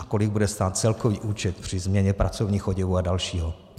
A kolik bude stát celkový účet při změně pracovních oděvů a dalšího?